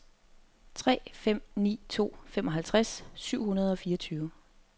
tre fem ni to femoghalvtreds syv hundrede og fireogtyve